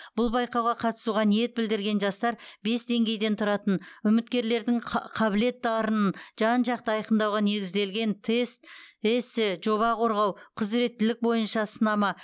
бұл байқауға қатысуға ниет білдірген жастар бес деңгейден тұратын үміткерлердің қабілет дарынын жан жақты айқындауға негізделген тест эссе жоба қорғау құзыреттілік бойынша сынама